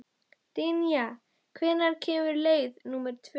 Dynja, hvenær kemur leið númer tvö?